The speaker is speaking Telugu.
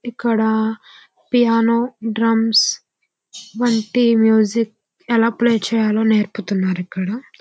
ఇక్కడ పియానో డ్రమ్స్ వంటి మ్యూజిక్ ఎలా ప్లే చేయాలో నేర్పుతున్నారు ఇక్కడ.